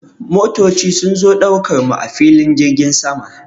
Motoci sun zo ɗaukar mu a filin jirgin sama.